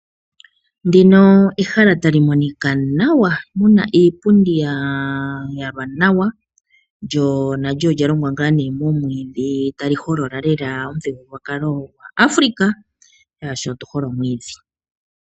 Ndino ehala tali monika nawa, mu na iipundi ya yalwa nawa. Lyo nalyo olya longwa momwiidhi tali holola lela omuthigululwakalo gwaAfrika, oshoka otu hole omwiidhi.